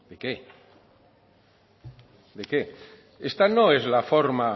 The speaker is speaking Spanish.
qué de qué esta no es la forma